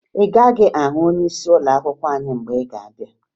Ị gaghị ahụ onyeisi ụlọakwụkwọ anyị mgbe ị ga-abịa